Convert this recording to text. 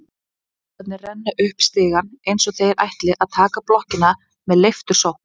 Trúboðarnir renna upp stigana eins og þeir ætli að taka blokkina með leiftursókn.